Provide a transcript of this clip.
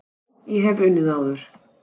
Já, ég hef unnið áður.